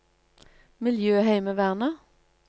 miljøheimevernet